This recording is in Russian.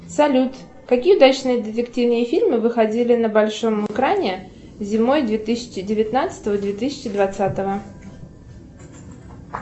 салют какие удачные детективные фильмы выходили на большом экране зимой две тысячи девятнадцатого две тысячи двадцатого